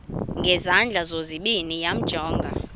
ngezandla zozibini yamjonga